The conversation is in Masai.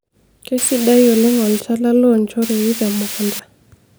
keisidai oleng olchala loonchoorei te mukunta